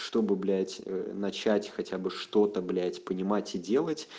чтобы блядь начать хотя бы что-то блять понимать и делать